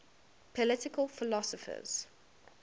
political philosophers